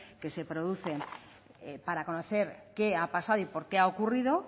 que se producen para conocer qué ha pasado y por qué ha ocurrido